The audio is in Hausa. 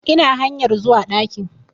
Ina hanyar zuwa ɗakin